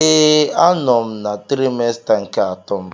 Ee, a nọ m na trimester nke atọ m.